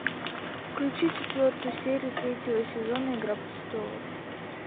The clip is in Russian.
включи четвертую серию третьего сезона игра престолов